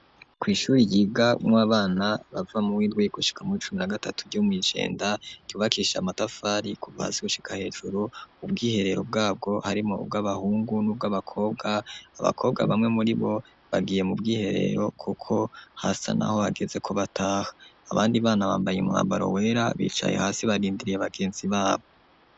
Kwi ishure ryiga nw'abana bava muwindwi gushika mo icumi na gatatu ryomwi Jenda ryubakishije amatafari kuca hasi gushika hejuru .Ubwiherero bwabwo harimo ubw'abahungu n'ubw'abakobwa .Abakobwa bamwe muri bo bagiye mu bwiherero kuko hasi naho hageze ko bataha abandi bana bambaye imwabaro wera bicaye hasi barindiriye bagenzi babo.